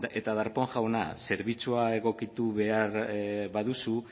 eta darpón jauna zerbitzua egokitu behar baduzu